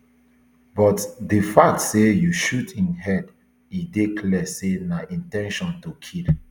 but di fact say you shoot im head e dey clear say na in ten tion to kill